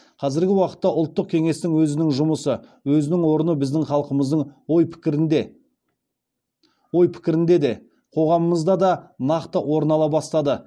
қазіргі уақытта ұлттық кеңестің өзінің жұмысы өзінің орны біздің халқымыздың ой пікірінде де қоғамымызда да нақты орын ала бастады